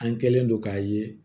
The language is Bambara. An kɛlen don k'a ye